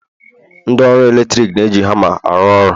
ndị ọrụ eletrik na-eji hama arụ ọrụ